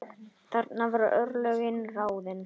Þarna voru örlögin ráðin.